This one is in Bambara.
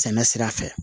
Sɛnɛ sira fɛ